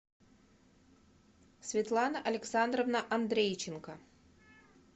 светлана александровна андрейченко